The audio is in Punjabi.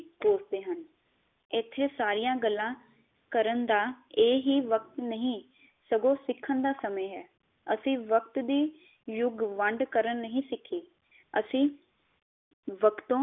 ਕੋਸਤੇ ਹਨ ਇਥੇ ਸਾਰਿਆ ਗਲਾਂ ਕਰਨ ਦਾ ਇਹੀ ਵਕਤ ਨਹੀ ਸਗੋ ਸਿਖਾਂ ਦਾ ਸਮੇ ਹੈ ਅਸੀਂ ਵਕਤ ਦੀ ਯੁਗ ਵੰਡ ਕਰਨੀ ਨਹੀ ਸਿਖੀ ਅਸੀਂ ਵਕਤੋ